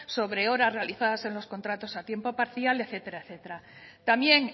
sobre horas realizadas en los contratos a tiempo parcial etcétera etcétera también